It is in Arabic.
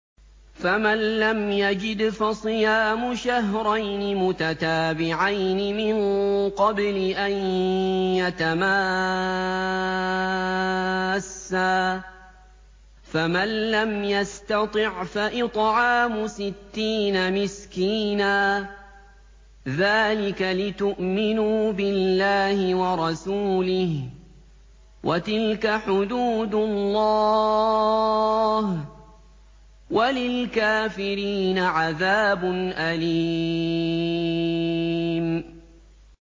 فَمَن لَّمْ يَجِدْ فَصِيَامُ شَهْرَيْنِ مُتَتَابِعَيْنِ مِن قَبْلِ أَن يَتَمَاسَّا ۖ فَمَن لَّمْ يَسْتَطِعْ فَإِطْعَامُ سِتِّينَ مِسْكِينًا ۚ ذَٰلِكَ لِتُؤْمِنُوا بِاللَّهِ وَرَسُولِهِ ۚ وَتِلْكَ حُدُودُ اللَّهِ ۗ وَلِلْكَافِرِينَ عَذَابٌ أَلِيمٌ